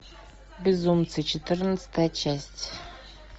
безумцы четырнадцатая часть